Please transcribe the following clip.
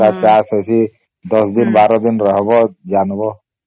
ଅଲଗା ଚାଷ ଅଛି ୧୦ ଦିନ ୧୨ ଦିନ ରହିବ ଜାଣିବା